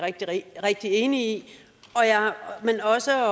rigtig enig i men også